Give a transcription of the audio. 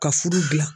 Ka furu dilan